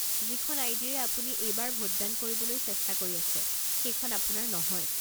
যিখন আই ডি ৰে আপুনি এইবাৰ ভোট দান কৰিবলৈ চেষ্টা কৰি আছে সেইখন আপোনাৰ নহয়।